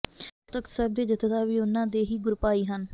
ਅਕਾਲ ਤਖਤ ਸਾਹਿਬ ਦੇ ਜੱਥੇਦਾਰ ਵੀ ਉਨ੍ਹਾਂ ਦੇ ਹੀ ਗੁਰਭਾਈ ਹਨ